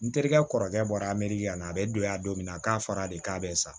N terikɛ kɔrɔkɛ bɔra a meri yan na a bɛ don ya don min na k'a fɔra de k'a bɛ sa